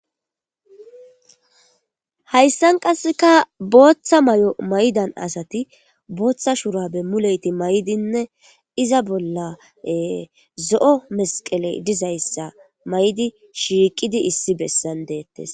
Hayssan qasseka booththa may7o maydan asati booththa shurabe muleyti may7dinne iza bolla zo7o mesqeley dizayssa may7di shiiqidi issi bessan deettes.